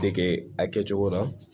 Dege a kɛcogo la